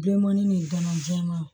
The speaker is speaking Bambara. Donmɔni gɔnɔ jɛmanw